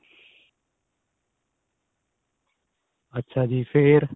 ਅੱਛਾ ਜੀ ਫੇਰ